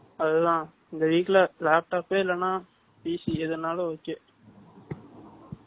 அதுதான், இந்த week ல, laptop பே இல்லைன்னா, PC எதுனாலும் okay